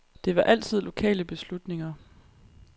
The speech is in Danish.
Det var altid lokale beslutninger.